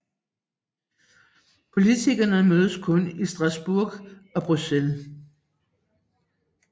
Politikerne mødes kun i Strasbourg og Bruxelles